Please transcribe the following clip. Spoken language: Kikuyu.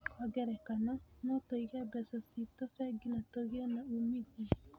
Kwa ngerekano, no tũige mbeca ciitũ bengi na tũgĩe na uumithio.